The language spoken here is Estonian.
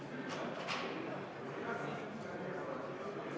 Ehitusseadustiku muutmise seadus on vastu võetud.